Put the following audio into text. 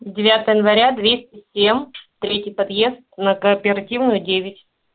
девятого января двести семь третий подъезд на кооперативную девять